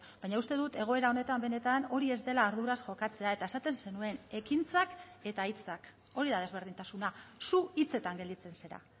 baina uste dut egoera honetan benetan hori ez dela arduraz jokatzea eta esaten zenuen ekintzak eta hitzak hori da desberdintasuna zu hitzetan gelditzen zara